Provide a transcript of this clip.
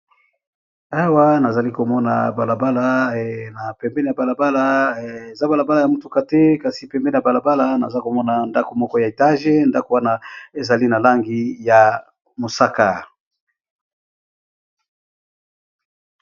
Awa na zali ko mona balabala na pembeni ya balabala eza balabala ya motuka te kasi pembeni ya balabala naza komona ndako moko ya etage ndako wana ezali na langi ya mosaka.